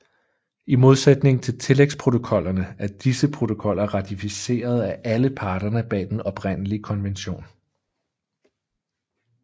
I modsætning til tillægsprotokollerne er disse protokoller ratificeret af alle parterne bag den oprindelige konvention